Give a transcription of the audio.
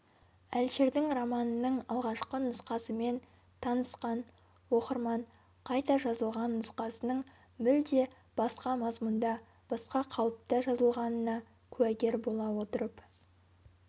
әлішердің романының алғашқы нұсқасымен танысқан оқырман қайта жазылған нұсқасының мүлде басқа мазмұнда басқа қалыпта жазылғанына куәгер бола отырып